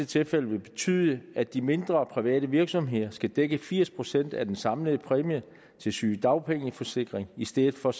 tilfælde vil betyde at de mindre private virksomheder skal dække firs procent af den samlede præmie til sygedagpengeforsikring i stedet for